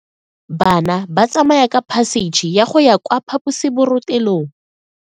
Bana ba tsamaya ka phašitshe go ya kwa phaposiborobalong.